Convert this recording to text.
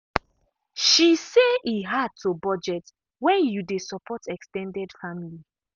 she say e hard to budget when you dey support ex ten ded family.